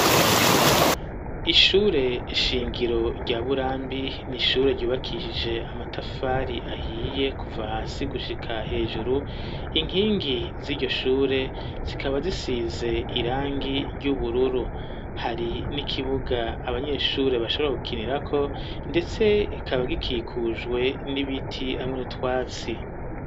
Ishure ishingiro rya burambi nishure ryubakishije amatafari ahiye kuva hasi gushika hejuru inkingi z'iryo shure zikaba zisize irangi ry'ubururu hari n'ikibuga abanyeshure bashobra gukinirako, ndetse ikaba ga kikujwe n'ibiti amwe n’utwatsi.